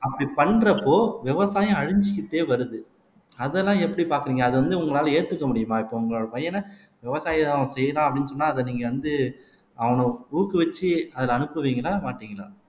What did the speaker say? அப்படி பண்றப்போ விவசாயம் அழிஞ்சுக்கிட்டே வருது அதெல்லாம் எப்படி பாக்குறீங்க அது வந்து உங்களால ஏத்துக்க முடியுமா இப்ப உங்களோட பையன விவசாயம் செய்யலாம் அப்படின்னு சொன்னா அதை நீங்க வந்து அவனை ஊக்குவிச்சு அதுல அனுப்புவீங்களா மாட்டீங்களா